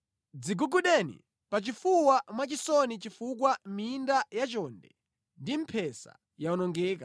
Dzigugudeni pachifuwa mwachisoni chifukwa minda yachonde, ndi mphesa yawonongeka.